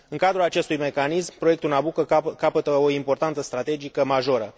În cadrul acestui mecanism, proiectul Nabucco capătă o importanță strategică majoră.